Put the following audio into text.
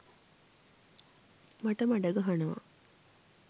මට මඩ ගහනවා.